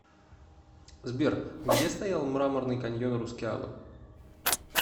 сбер где стоял мраморный каньон рускеала